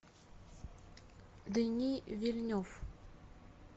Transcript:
дени вильнев